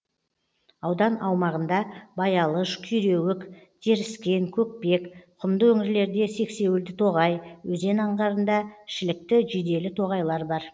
аудан аумағында баялыш күйреуік теріскен көкпек құмды өңірлерде сексеуілді тоғай өзен аңғарында шілікті жиделі тоғайлар бар